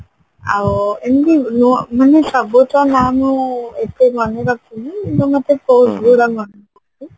ଆଉ ଏମତି ନୁହ ମାନେ ସବୁ ତ ମୁଁ ଏତେ ମାନେ ରଖିନୀ କିନ୍ତୁ ମତେ